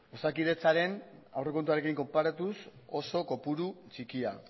osakidetzaren aurrekontuarekin konparatuz oso kopuru txikia